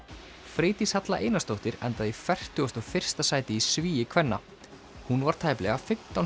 Freydís Halla Einarsdóttir endaði í fertugasta og fyrsta sæti í svigi kvenna hún var tæplega fimmtán